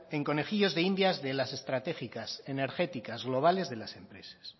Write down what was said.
en conejillos de indias de las estrategias energéticas globales de las empresas